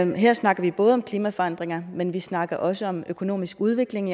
her snakker vi både om klimaforandringer men vi snakker også om økonomisk udvikling